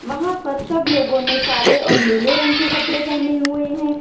वहां पर सब लोगों ने काले और नीले रंग के कपड़े पहने हुए हैं।